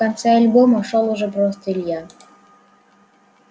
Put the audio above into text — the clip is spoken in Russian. в конце альбома шёл уже просто илья